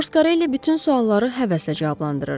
Foscarelli bütün sualları həvəslə cavablandırırdı.